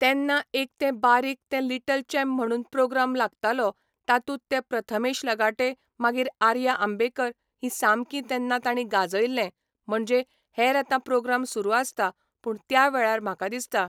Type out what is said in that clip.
तेन्ना एक ते बारीक ते लिटल चेंप म्हणून प्रोग्राम लागतालो तातूंत ते प्रथमेश लगाटे मागीर आर्या आंबेकर ही सामकीं तेन्ना तांणी गाजयल्लें म्हणजे हेर आतां प्रोग्राम सुरू आसता पूण त्या वेळार म्हाका दिसता